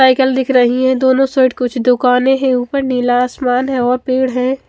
Cycle दिख रही है दोनों साईट कुछ दुकाने है उपर नीला आसमान है और पेड़ है।